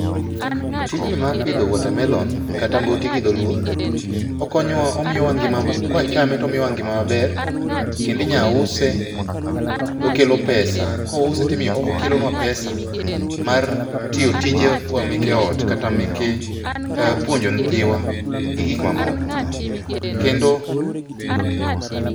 Tijni mar pidho water melon kata mboti gi dholuo, okonyowa omiyowa ngima kwachame to omiyowa ngima maber. Kendo inya use okelo pesa. Kouse timiyo okelonua pesa mar tiyo tijewa meke ot kata meke puonjo nyithiwa gi gik mamoko. Kendo